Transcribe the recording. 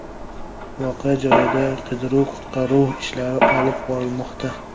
Voqea joyida qidiruv-qutqaruv ishlari olib borilmoqda.